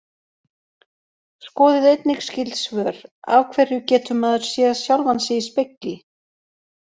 Skoðið einnig skyld svör: Af hverju getur maður séð sjálfan sig í spegli?